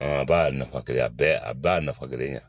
a b'a nafa kelen ye a bɛɛ a bɛɛ y'a nafa kelen ye